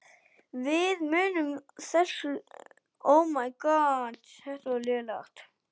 Við munum aldrei gleyma þessu.